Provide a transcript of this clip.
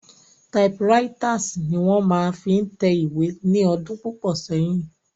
Typewriters ni wón máa fi ń tẹ ìwé ní ọdún púpọ̀ sẹ́yìn.